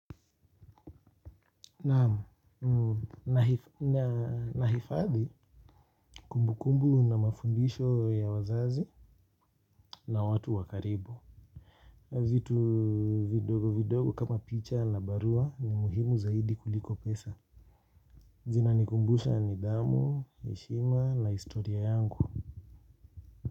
Nahifadhi kumbukumbu na mafundisho ya wazazi na watu wa karibu. Vitu vidogo vidogo kama picha na barua ni muhimu zaidi kuliko pesa. Zinanikumbusha nidhamu, heshima na historia yangu.